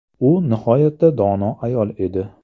U nihoyatda dono ayol edi.